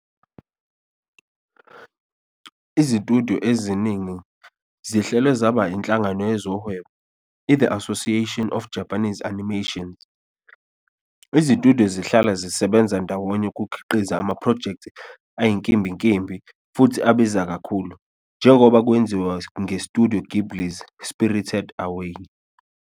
Izitudiyo eziningi zihlelwe zaba inhlangano yezohwebo, i- The Association of Japanese Animations. Izitudiyo zihlala zisebenza ndawonye ukukhiqiza amaphrojekthi ayinkimbinkimbi futhi abiza kakhulu, njengoba kwenziwa ngeStudio Ghibli's "Spirited Away".